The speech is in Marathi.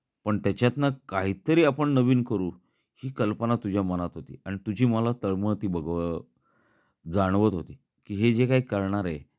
पण त्याच्यात ना काही तरी आपण नवीन करू ही कल्पना तुझ्या मनात होती आणि तुझी मला तळमळ ती जाणवत होती की हे जे काही करणार आहे.